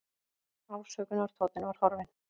Ásökunartónninn var horfinn.